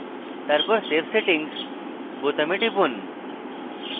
তারপর save settings বোতামে টিপুন